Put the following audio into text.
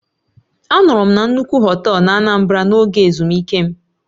Anọru m na nnukwu họtel n'Anambra n'oge ezumike m.